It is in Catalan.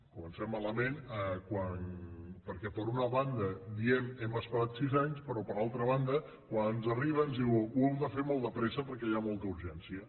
comencem malament perquè per una banda diem hem esperat sis anys però per altra banda quan ens arriba ens diuen ho heu de fer molt de pressa perquè hi ha molta urgència